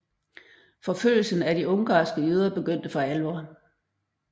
Forfølgelsen af de ungarske jøder begyndte for alvor